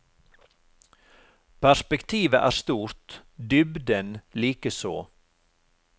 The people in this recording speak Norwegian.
Perspektivet er stort, dybden likeså.